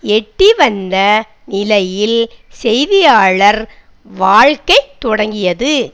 எட்டி வந்த நிலையில் செய்தியாளர் வாழ்க்கை தொடங்கியது